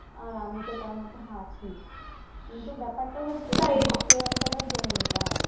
আর আমি তো তার মধ্যে আছি কিন্তু ব্যাপারটা হোচ্ছে এদিকে একটাবার জেনে নিতে হবে